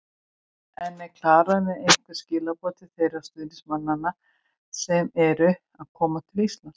En er Klara með einhver skilaboð til þeirra stuðningsmanna sem eru að koma frá Íslandi?